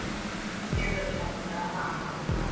ನೀರ್ದೋಸೆ ಮಾಡಿದ್ರಾ ಹ ಹ ಹ.